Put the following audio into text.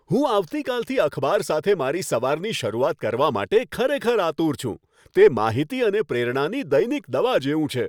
હું આવતીકાલથી અખબાર સાથે મારી સવારની શરૂઆત કરવા માટે ખરેખર આતુર છું. તે માહિતી અને પ્રેરણાની દૈનિક દવા જેવું છે.